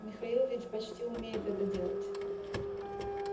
михаил ведь почти умеет это делать